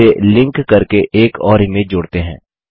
इसे लिंक करके एक और इमेज जोड़ते हैं